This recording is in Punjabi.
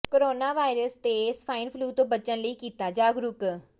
ਕੋਰੋਨਾ ਵਾਇਰਸ ਤੇ ਸਵਾਇਨ ਫਲੂ ਤੋਂ ਬਚਣ ਲਈ ਕੀਤਾ ਜਾਗਰੂਕ